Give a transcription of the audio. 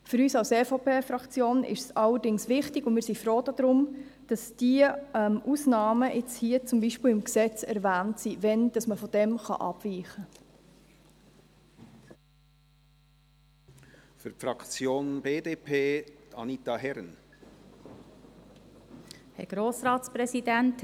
Für uns als EVP-Fraktion ist es allerdings wichtig, und wir sind froh darum, dass diese Ausnahmen im Gesetz erwähnt werden, wann davon abgewichen werden kann.